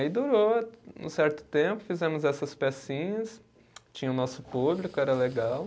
Aí durou um certo tempo, fizemos essas pecinhas, tinha o nosso público, era legal.